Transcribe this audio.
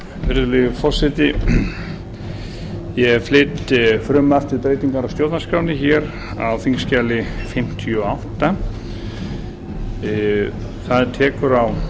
virðulegi forseti ég flyt frumvarp til breytingar á stjórnarskránni hér á þingskjali fimmtíu og átta það tekur á